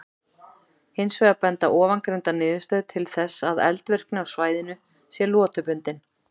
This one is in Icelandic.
Hins vegar benda ofangreindar niðurstöður til þess að eldvirkni á svæðinu sé lotubundin.